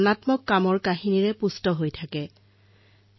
মাই gov আৰু Narendra Modi mobile এপত জনতাই নিজৰ চিন্তাধাৰা ব্যক্ত কৰে